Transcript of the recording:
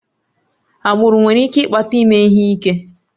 Agbụrụ nwere ike ịkpata ime ihe ike